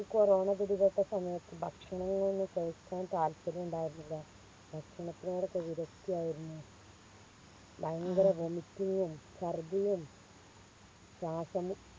corona പിടിപെട്ട സമയത്ത് ഭക്ഷങ്ങൾ ഒന്നും കഴിക്കാൻ താൽപ്പര്യണ്ടായിരുന്നില്ല ഭക്ഷണത്തോടൊക്കെ വിരക്തി ആയിരുന്നു ഭയങ്കര Vomiting ഉം ഛർദിയും ശ്വാസം മു